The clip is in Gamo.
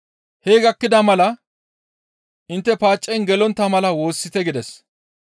Hee gakkida mala, «Intte paacen gelontta mala woossite» gides.